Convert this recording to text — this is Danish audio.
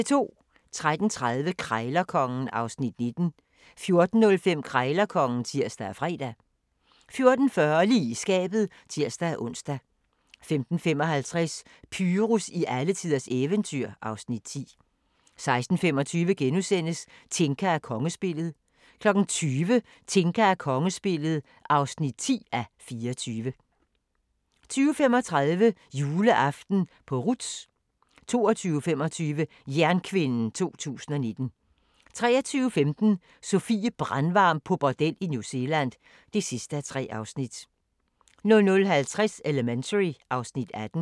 13:30: Krejlerkongen (Afs. 19) 14:05: Krejlerkongen (tir og fre) 14:40: Lige i skabet (tir-ons) 15:55: Pyrus i alletiders eventyr (Afs. 10) 16:25: Tinka og kongespillet (9:24)* 20:00: Tinka og kongespillet (10:24) 20:35: Juleaften på Ruths 22:25: Jernkvinden 2019 23:15: Sofie Brandvarm på bordel i New Zealand (3:3) 00:50: Elementary (Afs. 18)